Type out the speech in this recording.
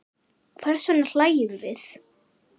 Hvers vegna hlæjum við?